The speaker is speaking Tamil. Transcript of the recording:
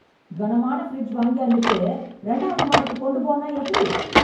கனமான ஃபிரிட்ஜ் வாங்கியாந்துட்டு ரெண்டாவது மாடிக்கு கொண்டுப் போன்னா எப்டி?